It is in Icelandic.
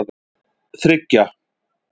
þriggja